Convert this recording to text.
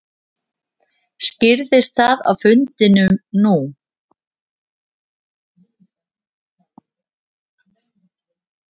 Skýrðist það á fundinum nú?